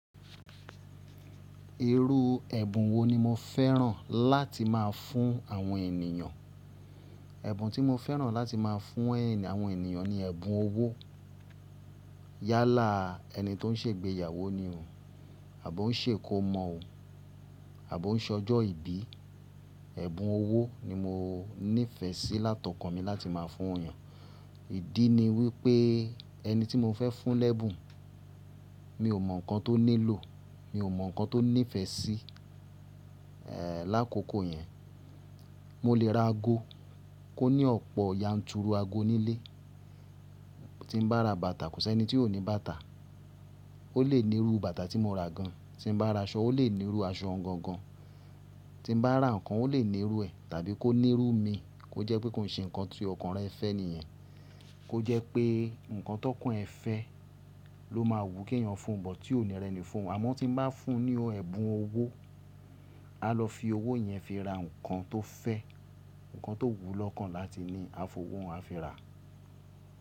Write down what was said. Irú ẹ̀bùn wo ni mo fẹ́ràn láti máa fún àwọn ènìyàn? Ẹ̀bùn tí mo fẹ́ràn láti máa fún àwọn ènìyàn ni ẹ̀bùn owó. Yálà ẹni tó ń ṣe ìgbéyàwó ni o, àbọ́ òun ṣe kó mọ o, àbọ́ òun ṣọjọ́ ìbí, ẹ̀bùn owó ni mo níìfẹ̀sí látọ̀kan mi láti máa fún yàn. Ìdí ni wípé ẹni tí mo fẹ́ fún lẹ́bùn mi ò mọ̀ nǹkan tó nílò, mi ò mọ̀ nǹkan tó nífẹ̀ẹ́ sí, lákòókò yẹn. Mo lè ra ago kó ní ọ̀pọ̀ yanturu ago nílé. Tí mo bá ra bàtà kò sí ẹni tí ò ní bàtà. Ó lè nírú bàtà tí mo ra gan. Tí mo bá ra aṣọ ó lè nírú aṣọ gan gan. Tí mo bá ra ǹkan ó lè nírú ẹ̀ tàbí kó nírú mi kó jẹ́ pé kó ṣe ǹkan tó ọkàn rẹ̀ fẹ́ nìyẹn. Kó jẹ́ pé ǹkan tó kún ẹ̀ fẹ́ ló máa wù kí ènìyàn fún, but tí ò ní rẹ̀ni fún. Àmọ́ tí mo bá fún ní ọ ẹ̀bùn owó, a lọ fi owó yẹn fi ra ǹkan tó fẹ́, ǹkan tó wù lọ́kàn láti ní a f'owó hun a fi ra.